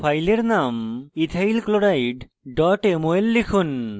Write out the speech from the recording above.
file name ethyl chloride mol লিখুন